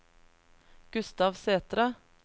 Gustav Sætre